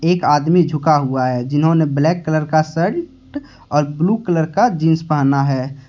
एक आदमी झुका हुआ है जिन्होंने ब्लैक कलर का शर्ट और ब्लू कलर का जींस पहना है।